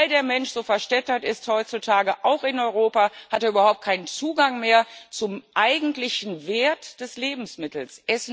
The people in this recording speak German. Weil der Mensch so verstädtert ist heutzutage, auch in Europa, hat er überhaupt keinen Zugang mehr zum eigentlichen Wert des Lebensmittels.